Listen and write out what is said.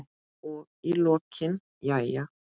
Og í lokin: Jæja.